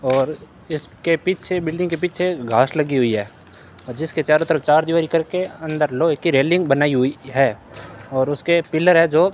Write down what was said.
और इसके पीछे बिल्डिंग के पीछे घास लगी हुई है और जिसके चारों तरफ चार दिवारी कर के अंदर लोहे की रेलिंग बनाई हुई है और उसके पिलर है जो --